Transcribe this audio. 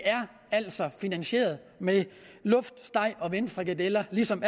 altså er finansieret med luftsteg og vindfrikadeller ligesom